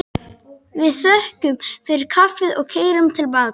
Við þökkum fyrir kaffið og keyrum til baka.